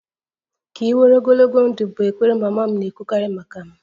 Ka ị nwere ogologo ndụ' bụ ekpere mama m na-ekwukarị maka m